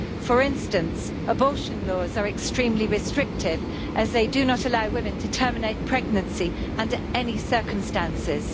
For instance, abortion laws are extremely restrictive as they do not allow women to terminate pregnancy under any circumstances.